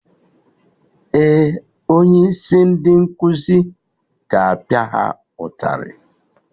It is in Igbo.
Ee, onye isi ndị nkuzi ga-apia ha ụtarị